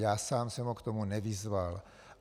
Já sám jsem ho k tomu nevyzval.